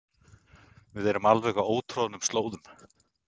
Við erum á alveg ótroðnum slóðum